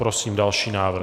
Prosím další návrh.